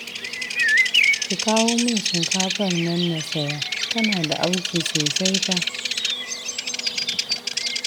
Ki kawo min shinkafar nan na saya, tana da auki sosai fa